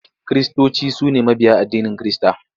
Kiristoci su ne mabiya addinin Kirista.